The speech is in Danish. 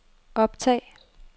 optag